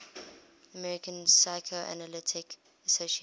american psychoanalytic association